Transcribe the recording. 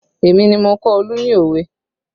Èmi ni mo kọ́ Olu ní òwe